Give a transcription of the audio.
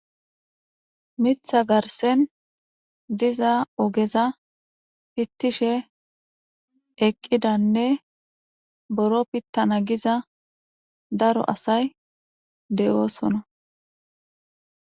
mitha garsen diza ogeza pittishe eqqidanne boro pittana giza daro asay de7oosona